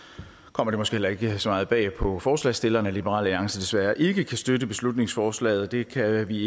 kommer det måske heller ikke så meget bag på forslagsstillerne at liberal alliance desværre ikke kan støtte beslutningsforslaget det kan vi